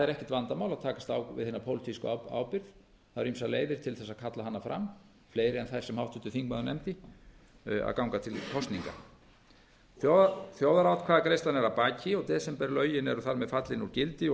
ekkert vandamál að takast á við hina pólitísku ábyrgð það eru ýmsar leiðir til þess að kalla hana fram fleiri en þær sem háttvirtur þingmaður nefndi að ganga til kosninga þjóðaratkvæðagreiðslan er að baki og desemberlögin eru þar með fallin úr gildi og